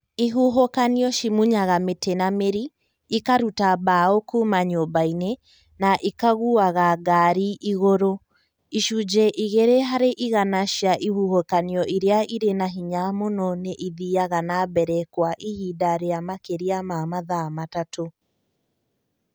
ihuhũkanio cimunyaga mĩtĩ na mĩri, ikaruta mbaũ kuuma nyũmba-inĩ, na ikagũaga ngaari igũrũ. Icunjĩ igĩrĩ harĩ igana cia ihuhũkanio iria irĩ na hinya mũno nĩ ithiaga na mbere kwa ihinda rĩa makĩria ma mathaa matatũ.